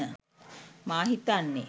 මා හිතන්නේ.